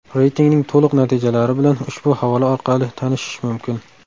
Reytingning to‘liq natijalari bilan ushbu havola orqali tanishish mumkin.